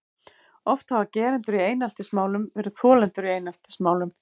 Oft hafa gerendur í eineltismálum verið þolendur í eineltismálum.